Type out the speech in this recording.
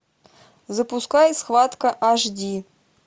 запускай схватка аш ди